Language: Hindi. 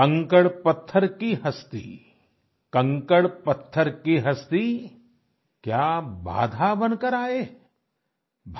कंकड़पत्थर की हस्ती क्या बाधा बनकर आए आई